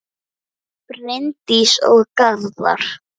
Bryndís og Garðar.